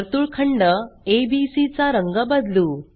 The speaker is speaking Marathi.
वर्तुळखंड एबीसी चा रंग बंदलू